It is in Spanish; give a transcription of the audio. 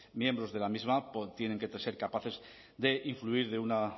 miembros de la misma tienen que ser capaces de influir de una